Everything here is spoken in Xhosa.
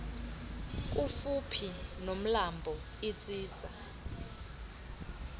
kufuphi nomlambo itsitsa